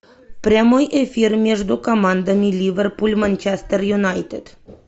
прямой эфир между командами ливерпуль манчестер юнайтед